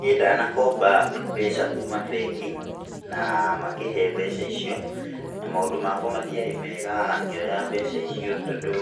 Niĩ ndanakomba mbeca kuuma bengi na makĩhe mbeca icio, na maũndũ makwa matiarĩ mega ngĩoya mbeca icio tondũ